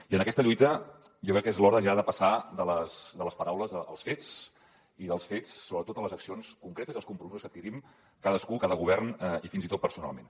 i en aquesta lluita jo crec que és l’hora ja de passar de les paraules als fets i dels fets sobretot a les accions concretes i als compromisos que adquirim cadascú cada govern i fins i tot personalment